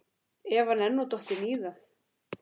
Ef hann er nú dottinn í það?